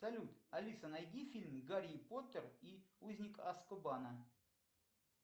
салют алиса найди фильм гарри поттер и узник азкабана